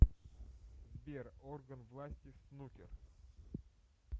сбер орган власти снукер